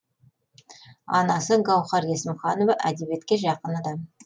анасы гаухар есімханова әдебиетке жақын адам